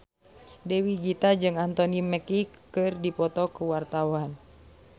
Dewi Gita jeung Anthony Mackie keur dipoto ku wartawan